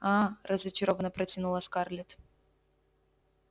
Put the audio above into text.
а-а разочарованно протянула скарлетт